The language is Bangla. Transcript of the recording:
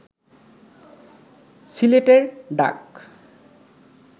সিলেটের ডাক